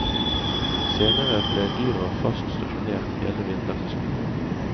Senere ble dyra fast stasjonert hele vintersesongen.